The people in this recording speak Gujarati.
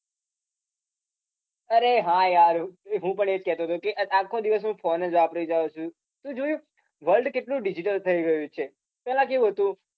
અરે હા યાર હું પણ એ જ કેતો હતો કે આખો દિવસ હું phone જ વાપરે જાઉં છુ તે જોયું world કેટલું digital થઈ ગયું છે.